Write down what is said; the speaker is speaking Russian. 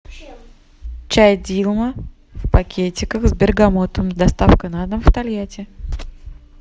чай дилма в пакетиках с бергамотом доставка на дом тольятти